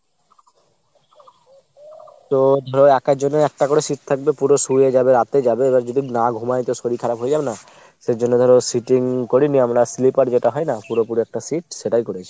তো ধরো একার জন্য একটা করে seat থাকবে। পুরো শুয়ে যাবে, রাতে যাবে এবার যদি না ঘুমায় তো শরীর খারাপ হয়ে যাবে না ? সে জন্য ধরো sitting করিনি আমরা sleeper যেটা হয় না পুরোপুরি একটা seat সেটাই করেছি।